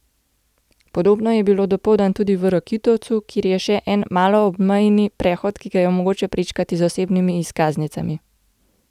Podobno je bilo dopoldan tudi v Rakitovcu, kjer je še en maloobmejni prehod, ki ga je mogoče prečkati z osebnimi izkaznicami.